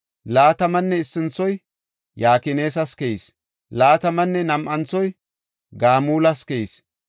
Laatamanne issinthoy Yakinas keyis. Laatamanne nam7anthoy Gamulas keyis.